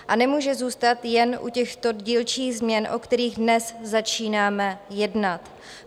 A nemůže zůstat jen u těchto dílčích změn, o kterých dnes začínám jednat.